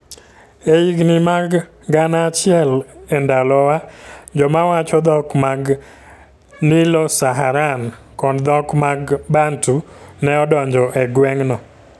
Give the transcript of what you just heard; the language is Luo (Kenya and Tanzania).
E higini mag Gana achiel e Ndalowa, joma wacho dhok mag Nilo-Saharan kod dhok mag Bantu ne odonjo e gweng'no.